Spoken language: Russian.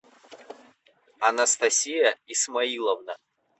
анастасия исмаиловна